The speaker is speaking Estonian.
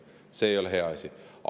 See ei ole hea asi.